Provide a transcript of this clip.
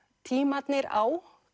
tímarnir á